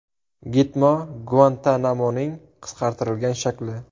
Gitmo Guantanamoning qisqartirilgan shakli.